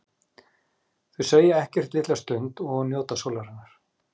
Þau segja ekkert litla stund og njóta sólarinnar.